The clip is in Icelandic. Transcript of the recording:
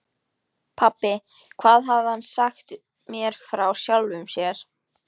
Pabbi, hvað hafði hann sagt mér frá sjálfum sér?